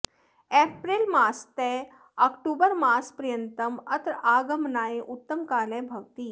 April मासतः अक्टोबरमासपर्यन्तम् अत्र आगमनाय उत्तमः कालः भवति